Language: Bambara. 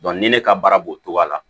ni ne ka baara b'o cogo la